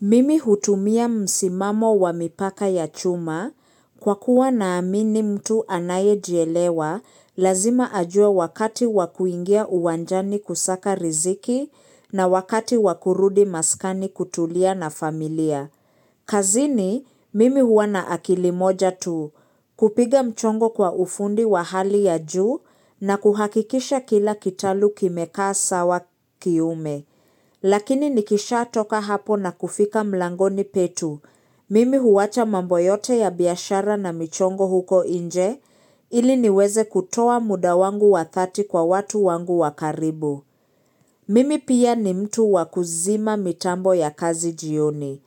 Mimi hutumia msimamo wa mipaka ya chuma, kwa kuwa naamini mtu anaye jielewa, lazima ajua wakati wakuingia uwanjani kusaka riziki na wakati wakurudi maskani kutulia na familia. Kazi ni mimi huwana akilimoja tu kupiga mchongo kwa ufundi wa hali ya juu na kuhakikisha kila kitalu kimekaa sawa kiume. Lakini nikisha toka hapo na kufika mlangoni petu. Mimi huwacha mamboyote ya biaashara na michongo huko inje ili niweze kutoa muda wangu wa dhati kwa watu wangu wakaribu. Mimi pia ni mtu wakuzima mitambo ya kazi jioni.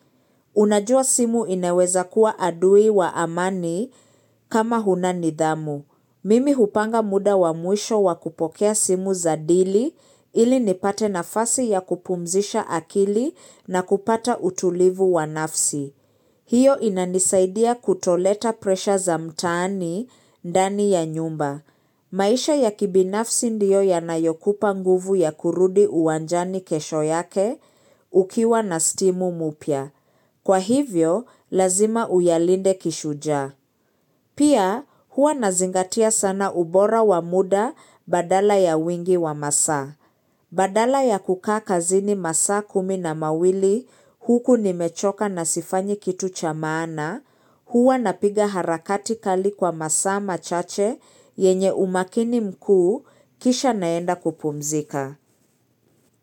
Unajua simu inaweza kuwa adui wa amani kama huna nidhamu. Mimi hupanga muda wa mwisho wakupokea simu zadili ili nipate nafasi ya kupumzisha akili na kupata utulivu wanafsi. Hiyo inanisaidia kutoleta presha za mtaani ndani ya nyumba. Maisha ya kibinafsi ndio yanayokupa nguvu ya kurudi uwanjani kesho yake ukiwa na stimu mupya. Kwa hivyo, lazima uyalinde kishuja. Pia huwa nazingatia sana ubora wa muda badala ya wingi wa masaa. Badala ya kukaa kazini masaa kumi na mawili huku nimechoka nasifanyi kitu cha maana, huwa napiga harakati kali kwa masaa machache yenye umakini mkuu kisha naenda kupumzika.